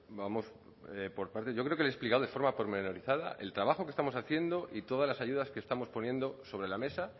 vamos por partes yo creo que le he explicado de forma pormenorizada el trabajo que estamos haciendo y todas las ayudas que estamos poniendo sobre la mesa